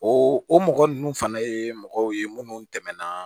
O o mɔgɔ nunnu fana ye mɔgɔw ye munnu tɛmɛna